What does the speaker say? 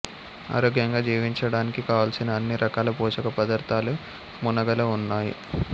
ఆరోగ్యంగా జీవించడానికి కావలసిన అన్ని రకాల పోషక పదార్థాలు మునగలో ఉన్నాయి